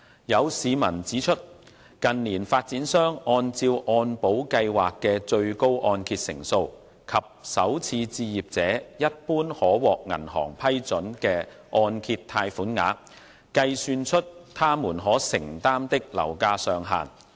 有市民指出，近年發展商按照按保計劃的最高按揭成數及首次置業者一般可獲銀行批准的按揭貸款額，計算出他們可承擔的樓價上限。